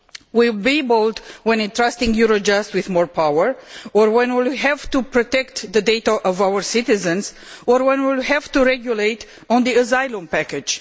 We will be bold when entrusting Eurojust with more power or when we have to protect the data of our citizens or when we will have to regulate on the asylum package.